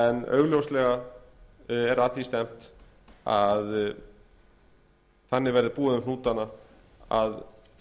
en augljóslega er að því stefnt að þannig verði búið um hnútana að